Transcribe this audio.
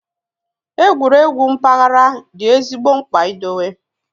Egwuregwu mpaghara dị ezigbo mkpa idowe